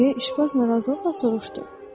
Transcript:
Deyə işbaz narazılıqla soruşdu.